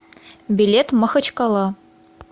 билет махачкала